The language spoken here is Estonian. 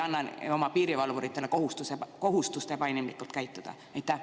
Ehk me ei paneks oma piirivalvuritele kohustust ebainimlikult käituda?